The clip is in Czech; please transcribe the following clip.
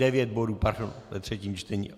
- Devět bodů, pardon, ve třetím čtení.